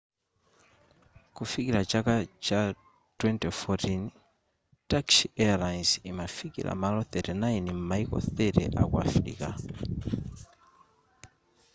kufikira chaka cha 2014 turkish airlines imafikira malo 39 m'maiko 30 aku afirika